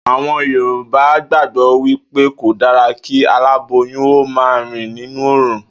Àwo̩n Yorùbá gbàgbó̩ wí pé kò dára kí aláboyún ó máa rìn nínú òòrùn